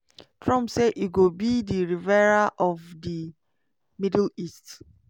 trump say e go be di "riviera of di middle east".